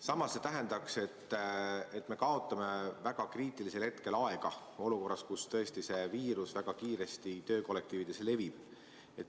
Samas, see tähendaks, et me kaotame väga kriitilisel hetkel aega olukorras, kus tõesti see viirus väga kiiresti töökollektiivides levib.